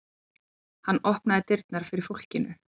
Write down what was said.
Hann opnaði dyrnar fyrir fólkinu.